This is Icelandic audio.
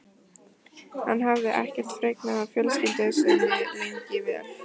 Hann hafði ekkert fregnað af fjölskyldu sinni lengi vel.